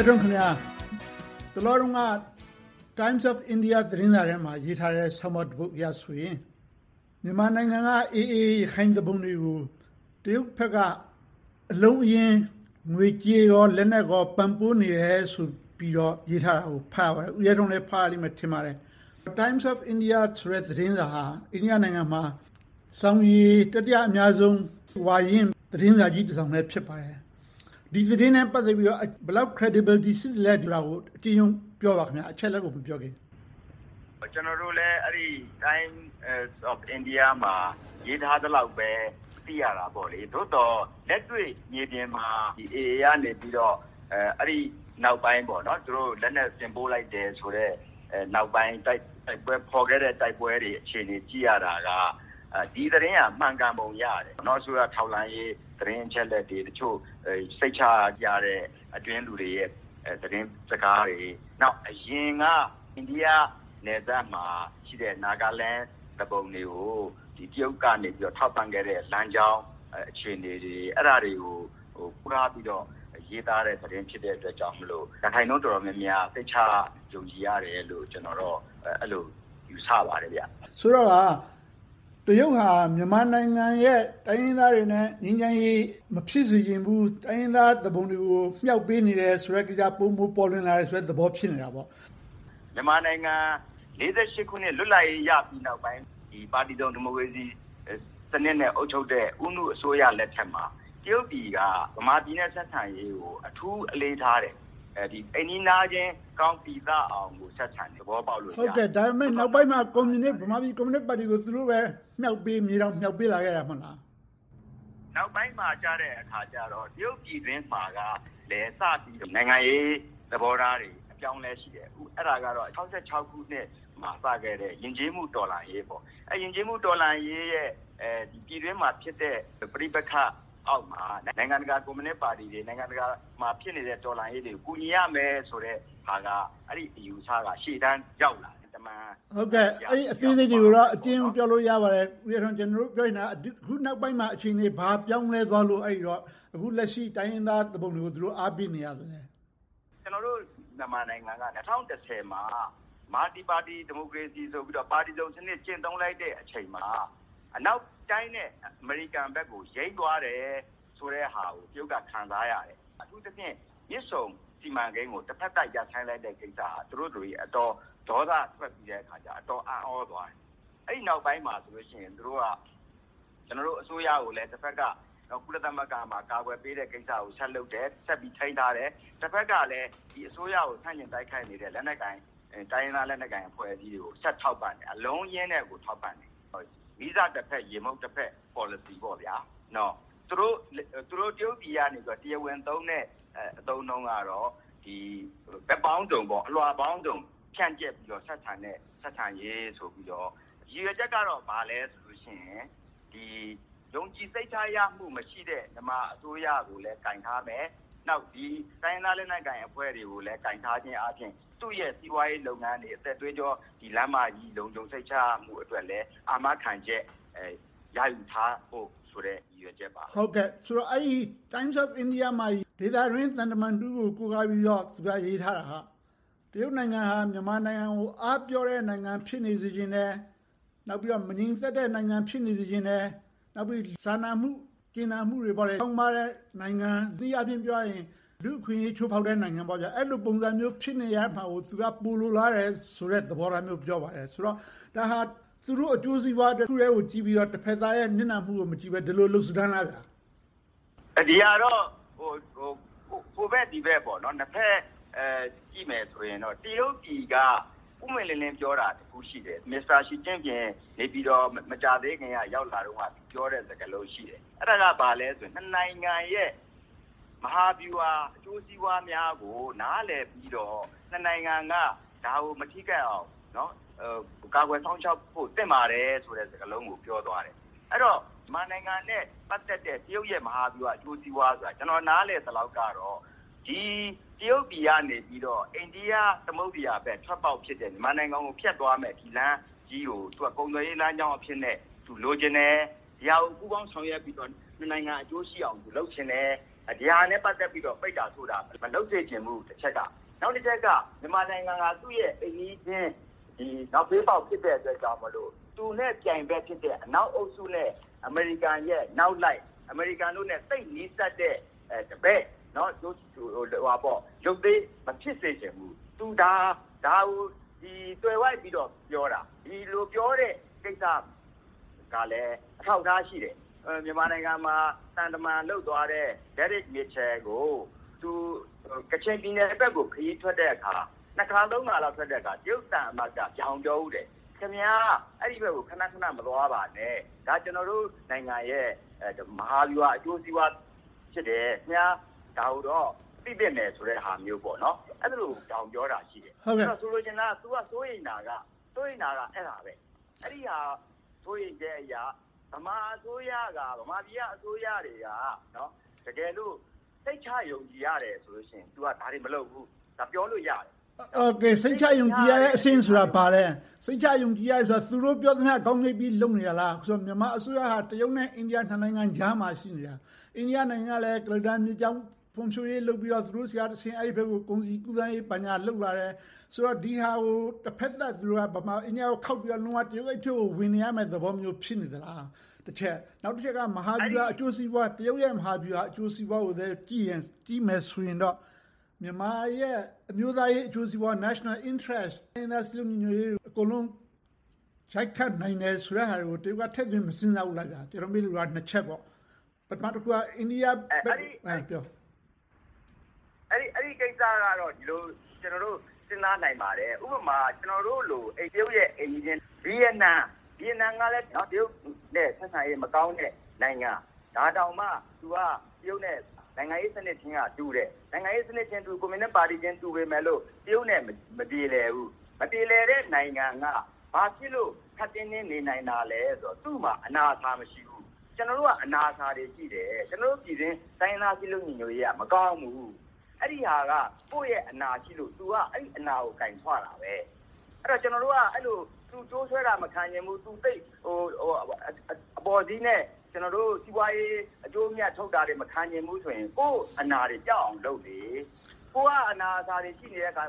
ဲထွန်းခင်များ… တလောက Times of India သတင်းစာထဲမှာ ရေးထားတဲ့ ဆောင်းပါးတပုဒ်အရဆိုရင် မြန်မာနိုင်ငံက AA ရခိုင်သူပုန်တွေကို တရုတ်ဘက်က အလုံးအရင်း ငွေကြေး၊ လက်နက်တွေ ပံ့ပိုးပေးနေတယ်ဆိုတာကို ဖတ်ရပါတယ်။ ဦးရဲထွန်းလည်း ဖတ်ရမယ်လို့ ထင်ပါတယ်။ Times of India ဆိုတဲ့ သတင်းစာဟာ အိန္ဒိယနိုင်ငံမှာ စောင်ရေ တတိယအများဆုံး၊ ဝါရင့်သတင်းစာကြီးတစောင်လည်း ဖြစ်ပါတယ်။ ဒီသတင်းနဲ့ ပတ်သက်ပြီး ဘယ်လောက် creditability ရှိသလဲဆိုတာကို အကျဉ်းရုံးပြောပါ။ အချက်အလက်တွေကို မပြောခင်။ ကျနော်တို့လည်း Times of India မှာ ရေးထားသလောက်ပဲ သိရတာပေါ့။ သို့သော် လက်တွေ့မြေပြင်မှာ AA ကနေ အဲဒီနောက်ပိုင်း သူတို့လက်နက်တင်ပို့လိုက်တယ်ဆိုတဲ့ နောက်ပိုင်း ဖော်ခဲ့တဲ့ တိုက်ပွဲတွေ အခြေအနေကို ကြည့်ရတာက ဒီသတင်းက မှန်ကန်ပုံရတယ်။ ထောက်လှမ်းရေး သတင်းအချက်အလက်တွေ၊ တချို့စိတ်ချရတဲ့ အတွင်းလူတွေရဲ့ သတင်းစကားတွေ။ နောက် အရင်က အိန္ဒိယနယ်စပ်မှာရှိတဲ့ Naga Land သူပုန်တွေကို တရုတ်ကနေ ထောက်ပံ့ခဲ့တဲ့ လမ်းကြောင်းအခြေအနေတွေကို သွားပြီးတော့ ရေးသားတဲ့ သတင်းဖြစ်တဲ့အတွက်ကြောင့်မို့ ရာခိုင်နှုန်းတော်တော်များများက စိတ်ချယုံကြည်ရတယ်လို့ ကျနော်ကတော့ အဲဒီလို ယူဆပါတယ်။ ဆိုတော့ကာ တရုတ်ဟာ မြန်မာနိုင်ငံရဲ့ တိုင်းရင်းသားတွေနဲ့ ငြိမ်းချမ်းရေး မဖြစ်စေချင်ဘူး၊ တိုင်းရင်းသားသူပုန်တွေကို မြှောက်ပေးနေတယ်ဆိုတဲ့ ကိစ္စ ပိုမိုပေါ်လွင်လာတဲ့သဘော ဖြစ်နေတာပေါ့။ မြန်မာနိုင်ငံ ၁၉၄၈ ခုနှစ် လွတ်လပ်ရေး ရပြီးနောက်ပိုင်း ပါတီစုံဒီမိုကရေစီစနစ်နဲ့ အုပ်ချုပ်တဲ့ ဦးနုအစိုးရလက်ထက်မှာ တရုတ်ပြည်က ဗမာပြည်နဲ့ ဆက်ဆံရေးကို အထူးအလေးထားတယ်။ အိမ်နီးနားချင်းကောင်း ပီသအောင် ဆက်ဆံခဲ့တယ်။ ဒါပေမဲ့ နောက်ပိုင်းမှာ ဗမာပြည်ကွန်မြူနစ်ပါတီကိုပဲ သူတို့ပဲ မြေတောင်မြှောက်ပေးလာခဲ့တာ မဟုတ်လား။ နောက်ပိုင်းမှာအခါကြတော့ တရုတ်ပြည်တွင်းမှာလဲ နိုင်ငံရေးသဘောထားတွေ အပြောင်းအလဲတွေ ရှိခဲ့တယ်။ အဲဒါကတော့ ၁၉၆၆ ခုနှစ်မှာ စခဲ့တဲ့ ယဉ်ကျေးမှုတော်လှန်ရေး ဖြစ်တယ်။ အဲဒီ ယဉ်ကျေးမှုတော်လှန်ရေးရဲ့ ပြည်တွင်းမှာဖြစ်တဲ့ ပဋိပက္ခအောက်မှာ နိုင်ငံတကာကွန်မြူနစ်ပါတီတွေ၊ နိုင်ငံတကာမှာ ဖြစ်နေတဲ့ တော်လှန်ရေးတွေကို ကူညီရမယ်ဆိုတဲ့ ဆုံးဖြတ်ချက်က ရှေ့တန်းရောက်လာခဲ့တယ်။ အဲဒီအချက်အလက်တွေကိုတော့ အသေးစိတ်ပြောလို့ရပါတယ်။ ကျနော်တို့ ပြောချင်တာက အခုနောက်ပိုင်းမှာ အခြေအနေ ဘာပြောင်းလဲသွားလို့ အခုလက်ရှိ တိုင်းရင်းသားသူပုန်တွေကို သူတို့က အားပေးနေတာလဲ။ ကျနော်တို့ မြန်မာနိုင်ငံက ၂၀၁၀ မှာ Multiparty Democracy ဆိုပြီးတော့ ပါတီစုံစနစ် ကျင့်သုံးလိုက်တဲ့အချိန်မှာ အနောက်နိုင်ငံတွေနဲ့ အမေရိကန်ဘက်ကို ယိမ်းသွားတယ်ဆိုတဲ့အရာကို တရုတ်က ခံစားရတယ်။ အထူးသဖြင့် မြစ်ဆုံစီမံကိန်းကို တဘက်သတ် ရပ်ဆိုင်းလိုက်တဲ့ကိစ္စက သူတို့တွေကို အတော်လေးဒေါသထွက်စေပြီး၊ အတော်အံ့သြသွားကြတယ်။ အဲဒီနောက်ပိုင်းမှာဆိုရင် သူတို့က ကျနော်တို့ အစိုးရကို တဘက်မှာ ကုလသမဂ္ဂမှာ ကာကွယ်ပေးတာကို ဆက်လုပ်တယ်။ ဆက်ပြီးထိန်းထားတယ်။ တဘက်မှာလဲ ဒီအစိုးရကို ဆန့်ကျင်တိုက်ခိုက်နေတဲ့ လက်နက်ကိုင် တိုင်းရင်းသားအဖွဲ့တွေကို ဆက်ထောက်ပံ့ပေးတယ်။ အလုံးအရင်းနဲ့ကို ထောက်ပံ့ပေးတယ်။ မီးစာတဘက်၊ ရေမှုတ်တဘက် ပေါ်လစီပေါ့။ သူတို့တရုတ်ပြည်မှာ တရားဝင်သုံးတဲ့ အသုံးအနှုန်းကတော့ ဘက်ပေါင်းစုံ၊ အလွှာပေါင်းစုံ ဖြန့်ကြတ်ပြီးတော့ ဆက်ဆံတဲ့ ဆက်ဆံရေးဆိုပြီးတော့။ ရည်ရွယ်ချက်ကတော့ ဘာလဲဆိုတော့ ယုံကြည်စိတ်ချရမှု မရှိတဲ့ မြန်မာအစိုးရကိုလဲ ကိုင်ထားမယ်။ နောက် တိုင်းရင်းသားလက်နက်ကိုင်အဖွဲ့တွေကိုလဲ ကိုင်ထားခြင်းအားဖြင့် သူ့ရဲ့ စီးပွားရေးလုပ်ငန်းတွေ အသက်သွေးကြော လမ်းမကြီး လုံခြုံစိတ်ချရမှုအတွက်လဲ အာမခံချက် ရယူထားဖို့ဆိုတဲ့ ရည်ရွယ်ချက်ပါပဲ။ အဲဒီ Times of India မှာ ဒေသတွင်း သံတမန်တဦးကို ကိုးကားပြီးတော့ သူက ရေးထားတာ။ တရုတ်နိုင်ငံက မြန်မာနိုင်ငံကို အားပျော့တဲ့ နိုင်ငံ ဖြစ်နေစေချင်တယ်။ နောက်ပြီးတော့ မငြိမ်သက်တဲ့ နိုင်ငံ ဖြစ်နေစေချင်တယ်။ နောက်ပြီးတော့ စာနာမှု၊ ကြင်နာမှုတွေ ခေါင်းပါးတဲ့ နိုင်ငံ။ တနည်းအားဖြင့်ဆိုရင် လူ့အခွင့်အရေး ချိုးဖောက်တဲ့နိုင်ငံ။ အဲဒီလိုဖြစ်နေတဲ့ နိုင်ငံ ဖြစ်နေတာကို သူက ပိုလိုလားတယ်ဆိုတဲ့ သဘောထားမျိုးကို ပြောပါတယ်။ ဆိုတော့ ဒါဟာ သူတို့အကျိုးစီးပွားတခုတည်းကို ကြည့်ပြီးတော့ တဘက်သားရဲ့ နစ်နာမှုကို မကြည့်ဘဲနဲ့ ဒီလိုလုပ်လို့ရလား။ ဒီဟာကတော့ ဟိုဘက်ဒီဘက် နှစ်ဘက်ကြည့်မယ်ဆိုရင်တော့ တရုတ်ပြည်က ပွင့်ပွင့်လင်းလင်းပြောတာ တခုရှိတယ်။ မစ္စတာရှီကျင့်ဖိန် မကြာသေးခင်က နေပြည်တော်လာတုန်းကပြောတဲ့ စကားလုံး ရှိတယ်။ အဲဒါက ဘာလဲဆိုတော့ နှစ်နိုင်ငံရဲ့ မဟာဗျူဟာ အကျိုးစီးပွားများကို နားလည်ပြီးတော့၊ နှစ်နိုင်ငံက ဒါကို မထိခိုက်အောင် ကာကွယ်စောင့်ရှောက်ဖို့ သင့်ပါတယ်ဆိုတဲ့ စကားလုံးကို ပြောသွားတယ်။ အဲဒီတော့ မြန်မာနိုင်ငံနဲ့ ပတ်သက်တဲ့ တရုတ်ရဲ့ မဟာဗျူဟာအကျိုးစီးပွားဆိုတာ ကျနော် နားလည်သလောက်ကတော့ တရုတ်ပြည်ကနေ အိန္ဒိယသမုဒ္ဒရာဘက် ထွက်ပေါက်ဖြစ်တဲ့ မြန်မာနိုင်ငံကို ဖြတ်သွားမယ့်၊ ဒီလမ်းကြီးကို သူက ကုန်သွယ်ရေးလမ်းကြောင်းအဖြစ်နဲ့ သူလိုချင်တယ်။ ဒီဟာကို ပူးပေါင်းဆောင်ရွက်ပြီးတော့ နှစ်နိုင်ငံ အကျိုးရှိအောင် လုပ်ချင်တယ်။ ဒီဟာနဲ့ ပတ်သက်ပြီးတော့ ပိတ်တာဆို့တာ မလုပ်ချင်ဘူး။ နောက်တချက်က မြန်မာနိုင်ငံဟာ သူ့ရဲ့ အိမ်နီးချင်း နောက်ဘေးပေါက် ဖြစ်တဲ့အတွက်ကြောင့်မို့ သူနဲ့ပြိုင်ဘက်ဖြစ်တဲ့ အနောက်အုပ်စုနဲ့ အမေရိကန်ရဲ့နောက်လိုက်၊ အမေရိကန်တို့နဲ့ သိပ်နီးစပ်တဲ့ တပည့်၊ ရုပ်သေ မဖြစ်စေချင်ဘူး။ သူက ဒါကို သွယ်ဝိုက်ပြီးတော့ ပြောတာ။ ဒီလိုပြောတဲ့ ကိစ္စကလဲ အထောက်အထား ရှိတယ်။ မြန်မာနိုင်ငံမှာ သံတမန်လုပ်သွားတဲ့ ဒယ်ရစ်မစ်ရှယ်ကို သူ ကချင်ပြည်နယ်ဘက်ကို ခရီးထွက်တဲ့အခါ နှစ်ခါသုံးခါလောက် ခရီးထွက်တဲ့အခါ တရုတ်သံအမတ်က ဗြောင်ပြောဖူးတယ်။ ခင်များ အဲဒီဘက်ကို ခဏခဏ ခရီးမသွားပါနဲ့၊ ဒါက ကျနော်တို့နိုင်ငံရဲ့ မဟာဗျူဟာအကျိုးစီးပွား ဖြစ်တယ်။ ခင်များ ဒါကိုတော့ သိသင့်တဲ့ဟာမျိုးကို ပြောခဲ့တာရှိတယ်။ ဆိုလိုချင်တာက သူက စိုးရိမ်တာက အဲဒါပဲ။ အဲဒီလို စိုးရိမ်ချက်အရ ဗမာပြည်က အစိုးရတွေက တကယ်လို စိတ်ချယုံကြည်ရတယ်ဆိုရင် သူက ဒါတွေမလုပ်ဘူး။ ပြောလို့ရတယ်။ စိတ်ချယုံကြည်ရတယ်ဆိုတဲ့အဆင့်က ဘာလဲ။ စိတ်ချယုံကြည်ရတယ်ဆိုတာ သူတို့ပြောသမျှ ခေါင်းငြိမ့်ပြီး လုပ်နေတာလား။ မြန်မာအစိုးရက တရုတ်နဲ့ အိန္ဒိယ နှစ်နိုင်ငံကြားမှာ ရှိနေတာ။ အိန္ဒိယနိုင်ငံနဲ့လည်း ကုလားတန်မြစ်ကြောင်း ဖွံ့ဖြိုးရေးလုပ်ပြီးတော့ သူတို့ဆီကတဆင့် အဲဒီဘက်ကို ကုန်စည်ကူးပြောင်းရေး ဘာညာလုပ်မယ်ဆိုတော့ ဒီဟာကို တဘက်သတ် မြန်မာ-အိန္ဒိယ ဆက်ဆံရေးကို ခေါက်ပြီးတော့ တရုတ်ဘက်ကိုပဲ ဝင်နေရမယ့်သဘောမျိုး ဖြစ်နေသလား.. တချက်။ နောက်တချက်က မဟာဗျူဟာအကျိုးစီးပွား - တရုတ်ရဲ့ မဟာဗျူဟာအကျိုးစီးပွားကို ကြည့်မယ်ဆိုရင်တော့ မြန်မာရဲ့ အမျိုးသားအကျိုးစီးပွား National Interest တိုင်းရင်းသားစည်းလုံးညီညွှတ်ရေးတို့ပါ ရိုတ်ခတ်မယ်ဆိုတာတွေကို တရုတ်က ထည့်သွင်းမစဉ်းစားဘူးလား။ ကျနော် မေးလိုတာက နှစ်ချက်ပါ။ အဲဒီကိစ္စကတော့ ကျနော်တို့ ဒီလိုစဉ်းစားနိုင်ပါတယ်။ ဥပမာ ကျနော်တို့လို့ တရုတ်ရဲ့ အိမ်နီးချင်း ဗိယက်နမ်ကလည်း တရုတ်နဲ့ ဆက်ဆံရေးမကောင်းတဲ့ နိုင်ငံ။ ဒါတောင်မှ သူက တရုတ်နဲ့ နိုင်ငံရေးစနစ်ချင်းက တူတယ်။ ကွန်မြူနစ်ပါတီချင်း တူပေမယ့်လို့ တရုတ်နဲ့ မပြေလည်ဘူး။ မပြေလည်တဲ့ နိုင်ငံက ဘာဖြစ်လို့ ခပ်တင်းတင်း နေနိုင်တာလဲဆိုတော့ သူ့မှာ အနာအဆာ မရှိဘူး။ ကျနော်တို့က အနာအဆာတွေ ရှိတယ်။ ကျနော်တို့ ပြည်တွင်း တိုင်းရင်းသားစည်းလုံးညီညွှတ်ရေးက မကောင်းဘူး။ အဲဒီဟာက ကိုယ့်ရဲ့အနာရှိလို့ သူက အဲဒီအနာကို ကိုင်ဆွတာပဲ။ ကျနော်တို့က သူကြိုးဆွဲတာ မခံချင်ဘူး၊ အပေါ်စီးနဲ့ ကျနော်တို့ စီးပွားရေး အကျိုးအမြတ် ချုပ်တာတွေ မခံချင်ဘူးဆိုရင် ကိုယ့်အနာတွေ ပျောက်အောက်လုပ်လေ။ ကိုယ်က အနာအဆာတွေ ရှိနေတဲ့အခါ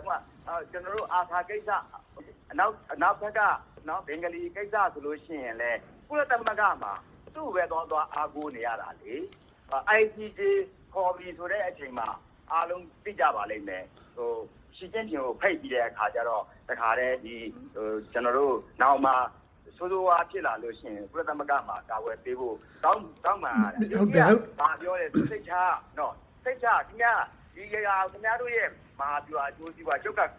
ကြတော့ ARSA ကိစ္စ။ အနောက်ဘက်က ဘင်္ဂလီကိစ္စဆိုလို့ရှိရင်လဲ ကုလသမဂ္ဂမှာ သူ့ကိုပဲ သွားသွားအားကိုးနေရတယ်။ ICJ ခေါ်ပြီဆိုတဲ့အချိန်မှာ အားလုံးသိကြပါလိမ့်မယ်။ ရှီကျင့်ဖိန်ကို ဖိတ်ပြီးတော့ တခါတည်း ကျနော်တို့ နောင်မှာ ဆိုးဆိုးဝါးဝါး ဖြစ်လာလို့ရှိရင် ကုလသမဂ္ဂမှာ ကာကွယ်ပေးဖို့ တောင်းပန်ရတယ်။ သူက ဘာပြောလဲဆိုတော့ စိတ်ချ ခင်များတို့ မဟာဗျူဟာအကျိုးစီးပွားအတွက်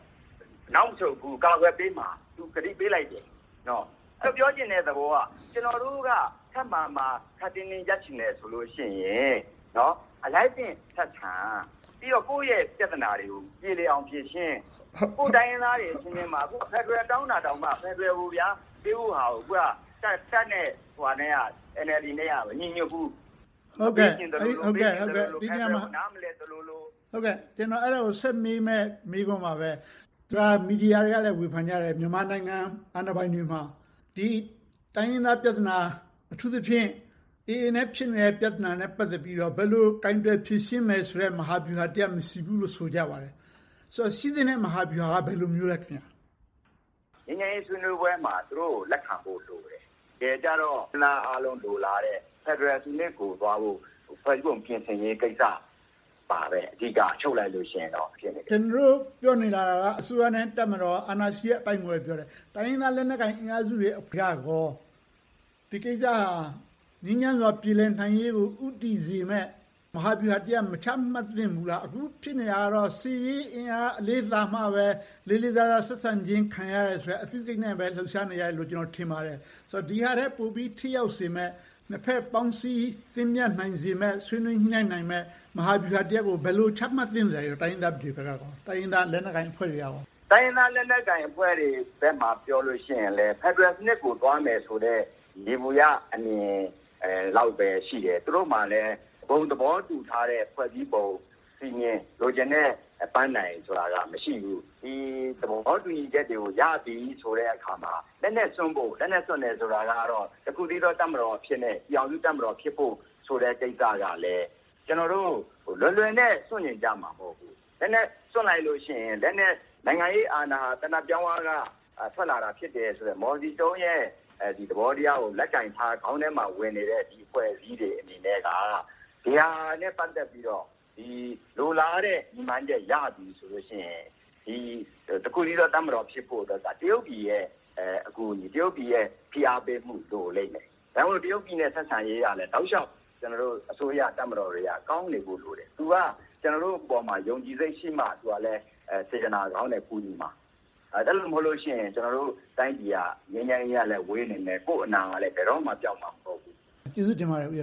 နောက်မဆုတ်ဘူး၊ ကာကွယ်ပေးမှာဆိုပြီး ကတိပေးလိုက်တယ်။ ပြောချင်တဲ့သဘောက ကျနော်တို့က ခပ်မာမာ၊ ခပ်တင်းတင်း ရပ်ချင်တယ်ဆိုရင် အလိုက်သင့်ဆက်ဆံ၊ ပြီးတော့ ကိုယ့်ရဲ့ပြဿနာတွေကို ပြေလည်အောင်ဖြေရှင်း။ ကိုယ့်တိုင်းရင်းသားအချင်းချင်းကြားမှာ ဖယ်ဒရယ်တောင်းတာကိုတောင် ပေးဖို့ဟာကို တပ်နဲ့ NLD က မညီညွှတ်ဘူး။ ကျနော် ဆက်မေးမယ့် မေးခွန်းပါပဲ။ မီဒီယာတွေကလဲ ဝေဖန်ကြတယ်။ မြန်မာနိုင်ငံ အာဏာပိုင်တွေမှာ တိုင်းရင်းသားပြဿနာ အထူးသဖြင့် AA နဲ့ ဖြစ်နေတဲ့ ပြဿနာနဲ့ ပတ်သက်ပြီးတော့ ဘယ်လိုကိုင်တွယ်ဖြေရှင်းမယ်ဆိုတဲ့ မဟာဗျူဟာတရပ် မရှိဘူးလို့ ဆိုကြပါတယ်။ ဆိုတော့ ရှိသင့်တဲ့ မဟာဗျူဟာက ဘယ်လိုဟာမျိုးလဲ။ ငြိမ်းချမ်းရေး ဆွေးနွေးပွဲမှာ သူတို့ကို လက်ခံဖို့ လိုတယ်။ တကယ်ကြတော့ တိုင်းရင်းသားအားလုံး လိုလားတဲ့ ဖယ်ဒရယ်ပြည်ထောင်စုစနစ်ကို သွားဖို့ ဖွဲ့စည်းပုံပြင်ဆင်ရေးကိစ္စပါပဲ။ အဓိက ချုပ်လိုက်လို့ရှိရင်တော့။ ကျနော်တို့ ပြောနေတာက အစိုးရနဲ့ တပ်မတော် အာဏာရှိတဲ့အပိုင်းကိုပဲ ပြောတယ်။ တိုင်းရင်းသားလက်နက်ကိုင် အင်အာအးစုတွေပိုင်းကရော ဒီကိစ္စက ငြိမ်းချမ်းစွာ ပြေလည်နိုင်ရေးကို ဦးတည်စေမယ့် မဟာဗျူဟာတရပ် မချမှတ်သင့်ဘူးလား။ အခုဖြစ်နေတာကတော့ စစ်ရေးအင်အား အလေးသာမှာပဲ လေးလေးစားစား ဆက်ဆံခြင်း ခံရမယ်ဆိုတဲ့ အသိစိတ်နဲ့ပဲ လုပ်နေကြတယ်လို့ ကျနော် ထင်ပါတယ်။ ဒီဟာထက်ပိုပြီး ထိရောက်စေမယ့် နှစ်ဘက်ပေါင်းစည်း သင့်မြတ်စေနိုင်မယ့် ဆွေးနွေးညှိနှိုင်းနိုင်မယ့် မဟာဗျူဟာတရပ်ကို ဘယ်လိုချမှတ်သင့်သလဲ။ တိုင်းရင်းသားတွေဘက်က၊ တိုင်းရင်းသားလက်နက်ကိုင်အဖွဲ့တွေဘက်က။ တိုင်းရင်းသားလက်နက်ကိုင်အဖွဲ့တွေဘက်ကို ပြောလို့ရှိရင်လဲ ဖယ်ဒရယ်စနစ်ကို သွားမယ်ဆိုတဲ့ ယေဘုယျအမြင်လောက်ပဲ ရှိတယ်။ သူတို့မှာလဲ ဘုံသဘောတူထားတဲ့ ဖွဲ့စည်းပုံ၊ စည်းမျဉ်း၊ လိုချင်တဲ့ ပန်းတိုင်ဆိုတာ မရှိဘူး။ ဒီသဘောတူညီချက်တွေကို ရပြီဆိုတဲ့အခါမှာ လက်နက်စွန့်ဖို့ဆိုတာကတော့ တခုတည်းသော တပ်မတော် ဖြစ်မယ့် ပြည်ထောင်စုတပ်မတော်ဖြစ်ဖို့ဆိုတဲ့ ကိစ္စကလဲ လွယ်လွယ်နဲ့ စွန့်ချင်ကြမှာ မဟုတ်ဘူး။ လက်နက်စွန့်လိုက်လို့ရှိရင် နိုင်ငံရေးအာဏာ သေနတ်ပြောင်းဝက ထွက်လာတာဖြစ်တယ်ဆိုတဲ့ မော်စီတုန်းရဲ့ သဘောတရားကို လက်ကိုင်ထားတဲ့ အဖွဲ့အစည်းတွေအနေနဲ့က ဒီဟာနဲ့ ပတ်သက်ပြီးတော့ လိုလားတဲ့ ရည်မှန်းချက်ရပြီဆိုရင်တော့ တခုတည်းသော တပ်မတော်ဖြစ်ဖို့အတွက်က တရုတ်ပြည်ရဲ့ အကူအညီ၊ တရုတ်ပြည်ရဲ့ ဖိအားပေးမှု လိုလိမ့်မယ်။ ဒါကြောင့် တရုတ်ပြည်နဲ့ ဆက်ဆံရေးကလဲ တောက်လျှောက် အစိုးရ၊ တပ်မတော်တွေက ကောင်းနေဖို့လိုတယ်။ သူက ကျနော်တို့အပေါ်မှာ ယုံကြည်စိတ်ရှိမှ စေတနာကောင်းနဲ့ ကူညီမှာ။ အဲဒီလိုမဟုတ်ရင် ကျနော်တို့တိုင်းပြည်က ငြိမ်းချမ်းရေးနဲ့လဲ ဝေးနေမယ်။ ကိုယ့်အနာကလဲ ဘယ်တော့မှ ပျောက်မှာမဟုတ်ဘူး။ ကျေးဇူးတင်ပါတယ် ဦးရ